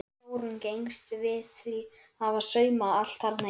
Þórunn gengst við því að hafa saumað allt þarna inni.